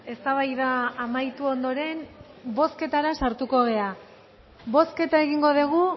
eztabaida amaitu ondoren bozketara sartuko gara bozketa egingo dugu